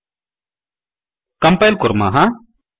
compile कुर्मः